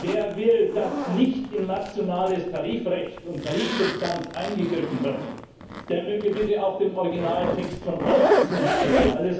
Wer möchte, dass in nationales Tarifrecht und Tarifsubstanz nicht eingegriffen wird, der möge bitte auch dem Originaltext von Ziffer 8 zustimmen.